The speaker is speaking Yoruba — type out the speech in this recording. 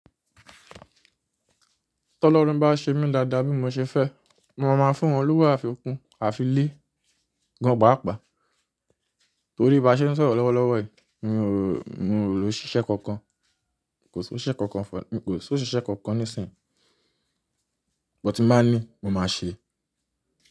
Tọ́lọ́run bá ṣe mí dáadáa bí mo ṣe fẹ́, mo máa fún Olúwa àfikún àfi lé gan paapaa. Torí bí a ṣe ń sọ̀rọ̀ lọ́wọ́lọ́wọ́ yìí, mi ò, mi ò lo ṣíṣe kankan. Kò sí ise kankan, kò sí osise kankan nísìnyí. But ti bá ní, mo máa sèé.